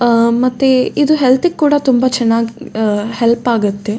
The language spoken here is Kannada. ಅಹ್ ಮತ್ತೆ ಇದು ಹೆಲ್ತ್ ಗೆ ಕೂಡ ತುಂಬಾ ಚೆನ್ನಾಗ್ ಹೆಲ್ಪ್ ಆಗತ್ತೆ.